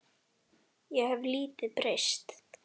Ég hef lítið breyst.